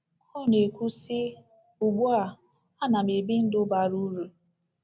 Ọ na - ekwu, sị: “Ugbu a, a na m ebi ndụ bara uru.